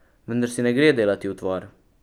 Vendar si ne gre delati utvar.